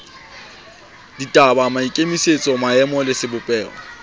ditaba maikemisetso maemo le sebopeho